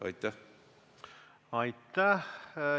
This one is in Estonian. Aitäh!